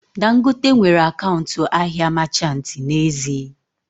Dangote nwere akaụntụ ahịa machanti n'ezie